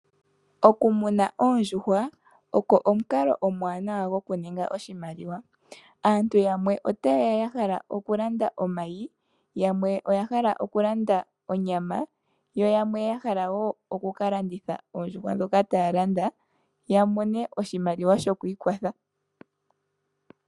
Okumuna oondjuhwa ogo omukalo omuwanawa gokuninga oshimaliwa. Aantu yamwe otaye ya ya hala okulanda omayi yamwe otaye ya ya hala okulanda onyama, yo yamwe ya hala wo okulanditha oondjuhwa dhoka taya landa ya mone oshimaliwa shokwiikwatha.